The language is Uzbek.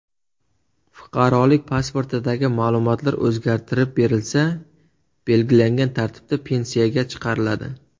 Fuqarolik pasportidagi ma’lumotlar o‘zgartirib berilsa, belgilangan tartibda pensiyaga chiqariladi.